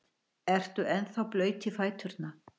Ertu ennþá blaut í fæturna?